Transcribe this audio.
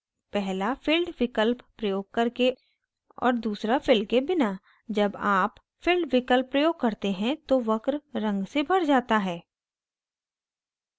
पहला filled विकल्प प्रयोग करके और दूसरा fill के बिना जब आप filled विकल्प प्रयोग करते हैं तो वक्र रंग से भर जाता है